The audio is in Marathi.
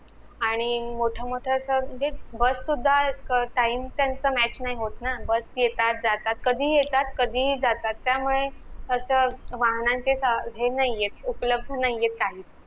आणि मोठ मोठ अस म्हणजे bus सुद्धा अं time त्यांचा match नाही होत bus येतात जातात कधीही येतात कधीही जातात त्यामुळे अस वाहनांची हे नाहीयेत उपलबध नाहीयेत काही